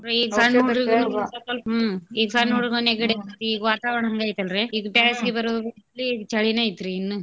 ಹ್ಮ್ ಈಗ್ ಸನ್ನ ಹುಡ್ಗ್ ನೆಗ್ಡಿ ಆಗೇತಿ ಈಗ್ ವಾತಾವ್ಣ ಹಂಗೈತಲ್ರಿ ಇದು ಬ್ಯಾಸ್ಗಿ ಬರ್ಬೇಕ್ರೀ ಈಗ್ ಚಳಿನ ಐತ್ರೀ ಇನ್ನೂ.